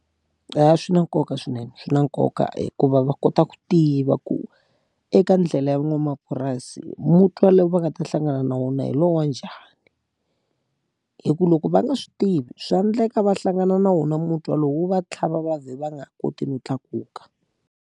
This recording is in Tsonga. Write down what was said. Eya, swi na nkoka swinene swi na nkoka hikuva va kota ku tiva ku, eka ndlela ya van'wamapurasi mutwa lowu va nga ta hlangana na wona hi lowu wa njhani. Hikuva loko va nga swi tivi swa endleka va hlangana na wona mutwa lowu wu va tlhava va vhela va nga ha koti no tlakuka.